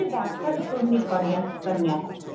રાક્ષસ કુળ ની કન્યા હતી